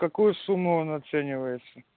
какую сумму он оценивается